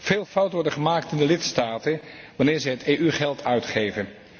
Veel fouten worden gemaakt in de lidstaten wanneer zij het EU geld uitgeven.